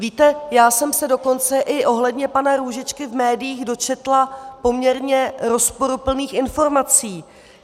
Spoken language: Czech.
Víte, já jsem se dokonce i ohledně pana Růžičky v médiích dočetla poměrně rozporuplných informací.